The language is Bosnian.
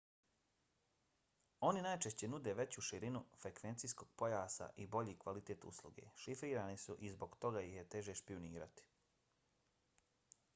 oni najčešće nude veću širinu frekvencijskog pojasa i bolji kvalitet usluge. šifrirani su i zbog toga ih je teže špijunirati